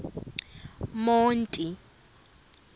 monti